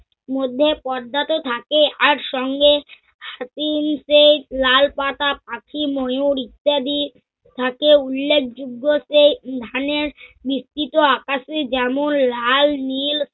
মধ্যে পর্দা তো থাকে আর সঙ্গে লাল পাতা পাখি ময়ূরি ইত্যাদি থাকে উল্যেখযোগ্য সে ধানের বিস্তৃত আকাসে যেমন লাল-নিল